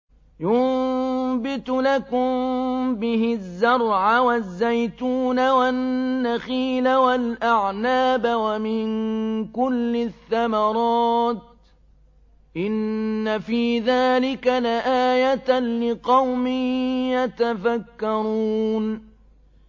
يُنبِتُ لَكُم بِهِ الزَّرْعَ وَالزَّيْتُونَ وَالنَّخِيلَ وَالْأَعْنَابَ وَمِن كُلِّ الثَّمَرَاتِ ۗ إِنَّ فِي ذَٰلِكَ لَآيَةً لِّقَوْمٍ يَتَفَكَّرُونَ